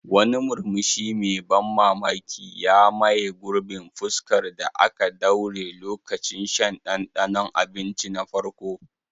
Wani murmushi mai ban mamaki ya maye gurbin fuskar da aka daure lokacin shan ɗanɗanon abinci na farko.